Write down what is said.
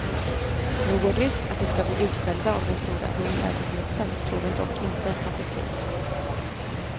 Någon risk att de ska bli utskällda av den stora hundägargruppen tror hon dock inte att det finns.